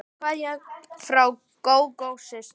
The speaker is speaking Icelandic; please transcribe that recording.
Kveðja frá Gógó systur.